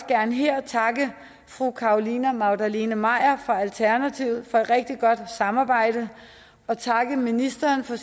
gerne her takke fru carolina magdalene maier fra alternativet for et rigtig godt samarbejde og takke ministeren for